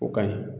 O ka ɲi